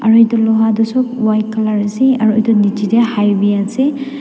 aru edu loha toh sop white colour ase aru edu nichae tae highway ase.